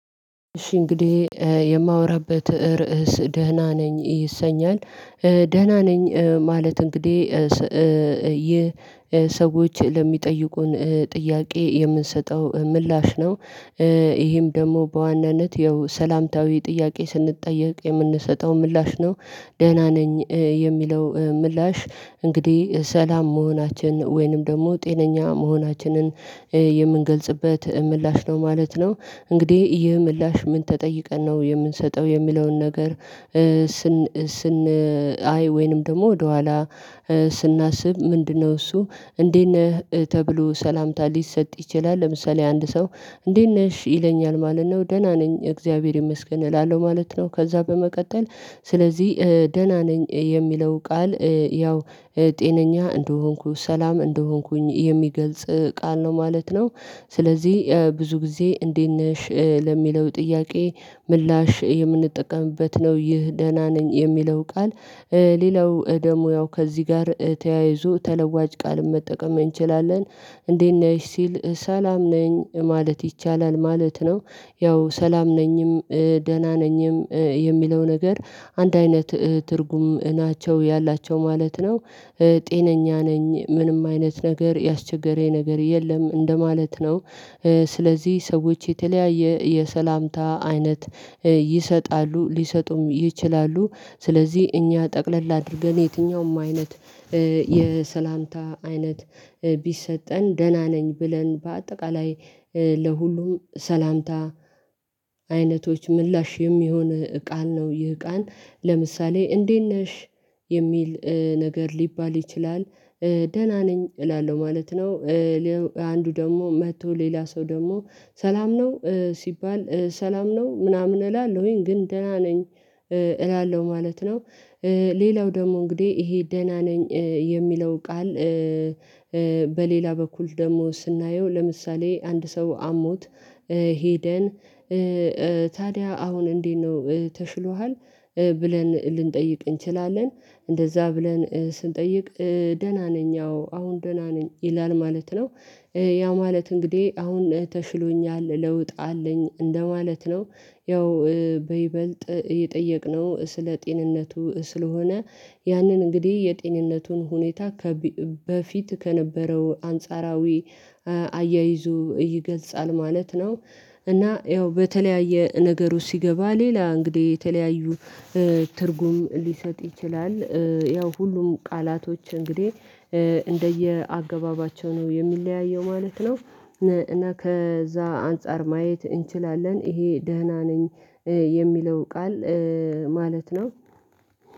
እሺ እንግዲህ የማወራበት ርዕስ ደህና ነኝ ይሰኛል ደህና ነኝ ማለት እንግዲህ ይህ ሰዎች ለሚጠይቁን ጥያቄ የምንሰጠው ምላሽ ነው። ይሄም ደግሞ በዋናነት ያው ሰላምታዊ ጥያቄ ስንጠየቅ የምንሰጠው ምላሽ ነው ደህና ነኝ የሚለው ምላሽ እንግዲህ ሰላም መሆናችን ወይንም ደግሞ ጤነኛ መሆናችንን የምንገልጽበት ምላሽ ነው ማለት ነው። እንግዲህ ይህ ምላሽ ምን ተጠይቀን ነው የምንሰጠው የሚለውን ነገር ስን አይ ወይንም ደግሞ ወደኋላ ስናስብ ምንድነው? እሱ እንዴት ነህ ተብሎ ሰላምታ ሊሰጥ ይችላል። ለምሳሌ አንድ ሰው እንዴት ነሽ ይለኛል ማለት ነው። ደህና ነኝ እግዚአብሔር ይመስገን እላለሁ ማለት ነው። ከዛ በመቀጠል ስለዚህ ደህና ነኝ የሚለው ቃል ያው ጤነኛ እንደሆንኩ ሰላም እንደሆንኩኝ የሚገልጽ ቃል ነው ማለት ነው። ስለዚህ ብዙ ጊዜ እንዴት ነሽ? ለሚለው ጥያቄ ምላሽ የምንጠቀምበት ነው ይህ ደህና ነኝ የሚለው ቃል። ሌላው ደሞ ያው ከዚህ ጋር ተያይዞ ተለዋጭ ቃል መጠቀም እንችላለን እንዴት ነሽ ሲል ሰላም ነኝ ማለት ይቻላል ማለት ነው። ያው ሰላም ነኝም ደህና ነኝም የሚለው ነገር አንድ አይነት ትርጉም ናቸው ያላቸው ማለት ነው። ጤነኛ ነኝ ምንም አይነት ነገር ያስቸገረኝ ነገር የለም እንደማለት ነው። ስለዚህ ሰዎች የተለያየ የሰላምታ አይነት ይሰጣሉ ሊሰጡም ይችላሉ። ስለዚህ እኛ ጠቅለል አድርገን የትኛውም አይነት የሰላምታ አይነት ቢሰጠን ደህና ነኝ ብለን በአጠቃላይ ለሁሉም ሰላምታ አይነቶች ምላሽ የሚሆን ቃል ነው። ይህ ቃን ለምሳሌ እንዴት ነሽ? የሚል ነገር ሊባል ይችላል ደህና ነኝ እላለሁ ማለት ነው። አንዱ ደግሞ መጥቶ ሌላ ሰው ደግሞ ሰላም ነው ሲባል ሰላም ነው ምናምን እላለሁኝ ግን ደህና ነኝ እላለሁ ማለት ነው። ሌላው ደግሞ እንግዲህ ይሄ ደህና ነኝ የሚለው ቃል። በሌላ በኩል ደግሞ ስናየው ለምሳሌ አንድ ሰው አሞት ሄደን ታዲያ አሁን እንዴት ነው ተሽሎሃል? ብለን ልንጠይቅ እንችላለን እንደዛ ብለን ስንጠይቅ ደህና ነኝ አዎ አሁን ደህና ነኝ ይላል ማለት ነው። ያ ማለት እንግዲህ አሁን ተሽሎኛል ለውጥ አለኝ እንደማለት ነው። ያው በይበልጥ እየጠየቅነው ስለ ጤንነቱ ስለሆነ ያንን እንግዲህ የጤንነቱን ሁኔታ ከበፊት ከነበረው አንጻራዊ አያይዞ ይገልጻል ማለት ነው። እና ያው በተለያየ ነገር ውስጥ ሲገባ ሌላ እንግዲህ የተለያዩ ትርጉም ሊሰጥ ይችላል። ያው ሁሉም ቃላቶች እንግዲህ እንደየ አገባባቸው ነው የሚለያየው ማለት ነው። እና ከዛ አንፃር ማየት እንችላለን ይሄ ደህና ነኝ የሚለው ቃል ማለት ነው።